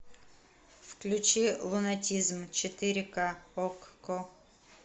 включи лунатизм четыре к окко